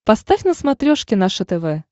поставь на смотрешке наше тв